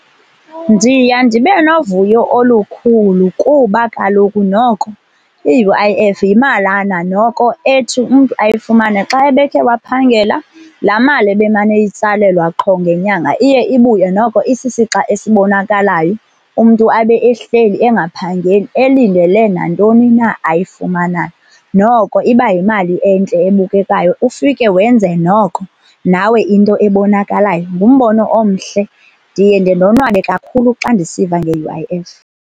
Ndiya ndibe novuyo olukhulu kuba kaloku noko i-U_I_F yimalana noko ethi umntu ayifumane xa ebekhe waphangela. Laa mali ebemane eyitsalelwa qho ngenyanga iye ibuye noko isisixa esibonakalayo, umntu abe ehleli engaphangeli elindele nantoni na ayifumanayo. Noko iba yimali entle ebukekayo, ufike wenze noko nawe into ebonakalayo. Ngumbono omhle, ndiye ndendonwabe kakhulu xa ndisiva nge-U_I_F.